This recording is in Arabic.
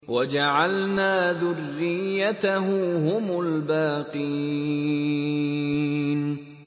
وَجَعَلْنَا ذُرِّيَّتَهُ هُمُ الْبَاقِينَ